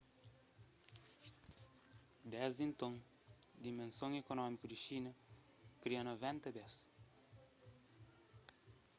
desdi nton dimenson ekonómiku di xina kria 90 bes